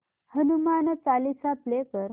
Hanuman Chalisa play कर